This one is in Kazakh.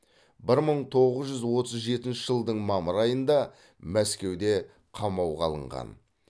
бір мың тоғыз жүз отыз жетінші жылдың мамыр айында мәскеуде қамауға алынған